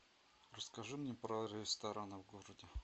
расскажи мне про рестораны в городе